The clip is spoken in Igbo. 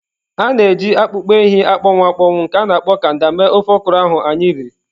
A na-eji akpụkpọ ehi akpọnwụ akpọnwụ nke a na-akpọ kanda mee ofe okra ahụ anyị riri.